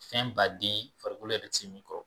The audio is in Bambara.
Fɛn baden farikolo yɛrɛ bɛ se min kɔrɔ